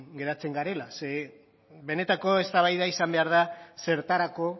geratzen garela ze benetako eztabaida izan behar da zertarako